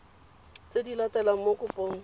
tse di latelang mo kopong